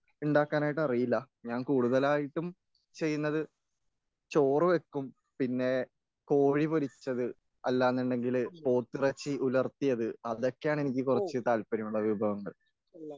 ഉണ്ടാക്കാനായിട്ടറിയില്ല ഞാൻ കൂടുതലായിട്ടും ചെയ്യുന്നത് ചോറ് വയ്ക്കും പിന്നെ കോഴി പൊരിച്ചത് അല്ലന്നുണ്ടെങ്കില് പോത്തിറച്ചി ഉലർത്തിയത് അതൊക്കെയാണ് എനിക്ക് കുറച്ച് താല്പര്യമുള്ള വിഭവങ്ങൾ